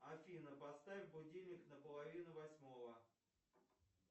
афина поставь будильник на половину восьмого